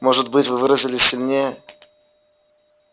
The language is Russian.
может быть вы выразились сильнее